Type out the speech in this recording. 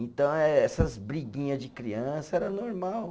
Então eh essas briguinha de criança era normal.